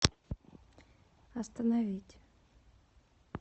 остановить